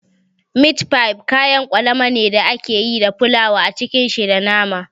Mit fif kayan kwalama ne da ake yi da fulawa a cike shi da nama